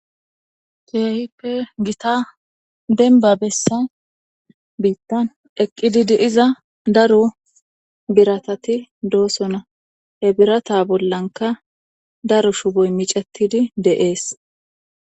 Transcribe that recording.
keehippe gita denbabessa biittan eqqididi iza daru biratati doosona ebirata bollanka daru shuboy micetidi de7ees